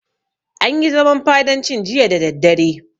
An yi zaman fadancin jiya da daddare.